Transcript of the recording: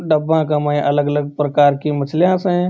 डिब्बा में अलग अलग प्रकार कि मछली स।